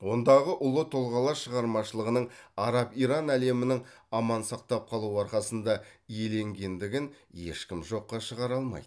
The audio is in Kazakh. ондағы ұлы тұлғалар шығармашылығының араб иран әлемінің аман сақтап қалу арқасында иеленгендігін ешкім жоққа шығара алмайды